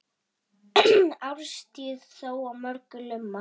Árstíð þó á mörgu lumar.